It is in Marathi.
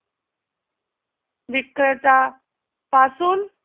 विक्रेता पासून